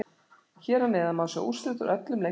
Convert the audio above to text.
Hér að neðan má sjá úrslit úr öllum leikjum kvöldsins.